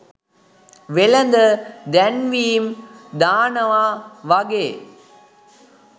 වෙළඳ දැන්වීම් දානවා වගේ